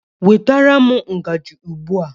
Nwetara m ngaji ugbu a!